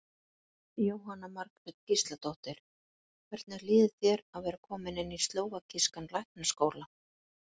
Jóhanna Margrét Gísladóttir: Hvernig líður þér að vera kominn inn í slóvakískan læknaskóla?